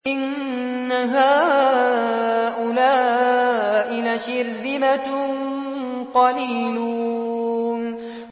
إِنَّ هَٰؤُلَاءِ لَشِرْذِمَةٌ قَلِيلُونَ